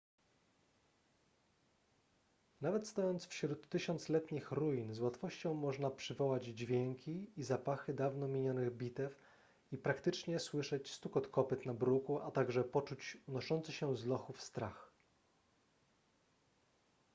nawet stojąc wśród tysiącletnich ruin z łatwością można przywołać dźwięki i zapachy dawno minionych bitew i praktycznie słyszeć stukot kopyt na bruku a także poczuć unoszący się z lochów strach